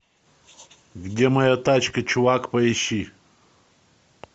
где моя тачка чувак поищи